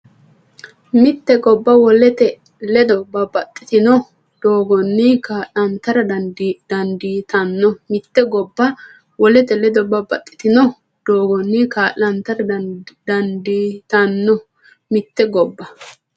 Mitte gobba wolete ledo babbaxxitino doogganni kaa’lantara dandii- tanno Mitte gobba wolete ledo babbaxxitino doogganni kaa’lantara dandii- tanno Mitte gobba.